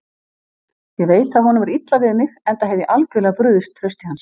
Ég veit að honum er illa við mig, enda hef ég algjörlega brugðist trausti hans.